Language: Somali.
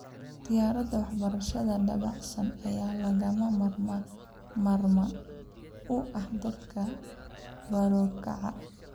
Ikhtiyaarada waxbarashada dabacsan ayaa lagama maarmaan u ah dadka barokacay.